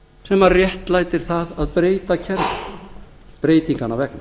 sem réttlætir það að breyta kerfinu breytinganna vegna